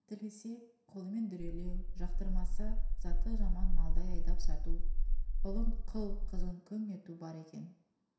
тілесе қолымен дүрелеу жақтырмаса заты жаман малдай айдап сату ұлын құл қызын күң ету бар екен